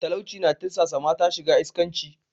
Talauci na tirsasa mata shiga iskanci.